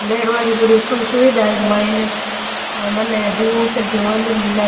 बैठ बा की पूरी उत्तम सुविधा है इक माइन और मैंने जूस और की और भी मिले --